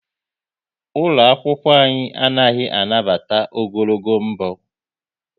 Ụlọ akwụkwọ anyị anaghị anabata ogologo mbọ